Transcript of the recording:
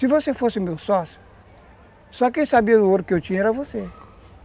Se você fosse meu sócio, só quem sabia do ouro que eu tinha era você.